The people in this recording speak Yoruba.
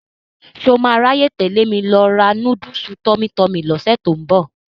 Ṣọ máa ráyè tẹ̀lé mi lọ ra núdùsù Tummy Tummy lọ́sẹ̀ tó ń bọ̀?